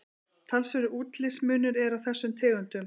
talsverður útlitsmunur er á þessum tegundum